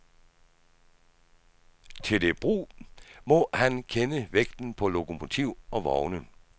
Til det brug må han kende vægten på lokomotiv og vogne.